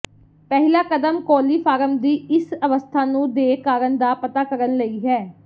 ਪਹਿਲਾ ਕਦਮ ਕੋਲੀਫਾਰਮ ਦੀ ਇਸ ਅਵਸਥਾ ਨੂੰ ਦੇ ਕਾਰਨ ਦਾ ਪਤਾ ਕਰਨ ਲਈ ਹੈ